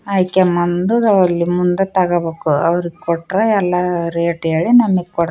ಆಯ್ಕೆ ಮಂದು ಮುಂದೆ ತಗಬೇಕು ಅವ್ರೂ ಕೊಟ್ರೆ ಎಲ್ಲಾ ರೇಟ್‌ ಏಳಿ ನಮಿಗೆ ಕೊಡ್--